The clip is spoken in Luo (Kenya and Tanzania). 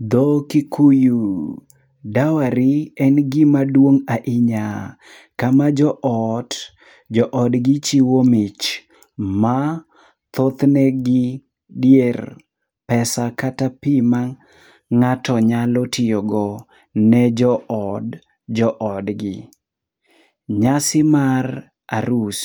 Dho Kikuyu: dawari en gima swong' ahinya. Kama jo ot, jo odgi chiwo mich. Ma thothne gi dier pesa kata pi ma ng'ato nyalo tiyogo ne jo od, jo odgi. Nyasi mar arus